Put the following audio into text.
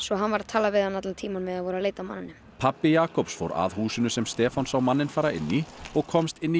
hann var að tala við hann allan tímann á meðan þeir voru að leita að manninum pabbi Jakobs fór að húsinu sem Stefán sá manninn fara inn í og komst inn í